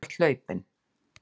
Þú ert hlaupinn.